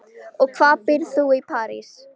Og hvar býrð þú í París?